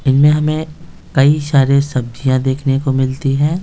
इनमें हमें कई सारे सब्जियां देखने को मिलती हैं।